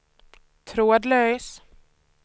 trådlös